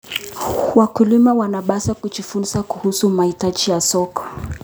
Wakulima wanapaswa kujifunza kuhusu mahitaji ya soko.